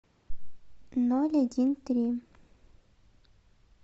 ноль один три